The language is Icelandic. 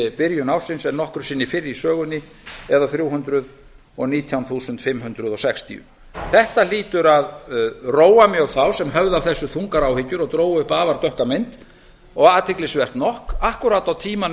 í byrjun ársins en nokkru sinni fyrr í sögunni eða þrjú hundruð og nítján þúsund fimm hundruð sextíu þetta hlýtur að róa mjög þá sem höfðu af þessu þungar áhyggjur og drógu upp afar dökka mynd og athyglisvert nokk akkúrat á á tímanum